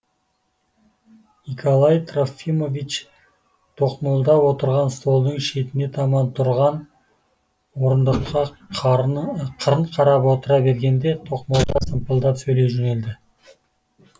николай трофимович тоқмолда отырған столдың шетіне таман тұрған орындыққа қарның қырын қарап отыра бергенде тоқмолда сампылдап сөйлей жөнелді